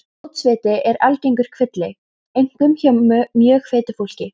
Fótsviti eru algengur kvilli, einkum hjá mjög feitu fólki.